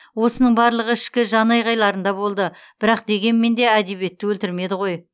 осының барлығы ішкі жанайқайларында болды бірақ дегенмен де әдебиетті өлтірмеді ғой